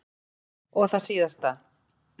Og það síðasta.